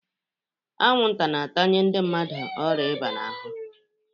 Anwụnta na-atanye ndị mmadụ ọrịa ịba n'ahụ.